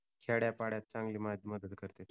खेड्यापाड्यात चांगली मदत करत्यात ती